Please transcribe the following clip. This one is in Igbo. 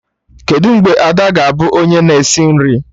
Kedụ mgbe Ada ga-abụ onye na esi nri?